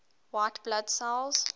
white blood cells